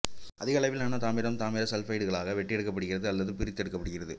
அதிக அளவிலான தாமிரம் தாமிர சல்பைடுகளாக வெட்டியெடுக்கப்படுகிறது அல்லது பிரித்து எடுக்கப்படுகிறது